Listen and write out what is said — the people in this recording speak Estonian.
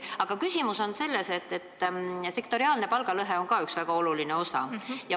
Aga küsimus on selles, et sektoriaalne palgalõhe on siin üks väga oluline osa.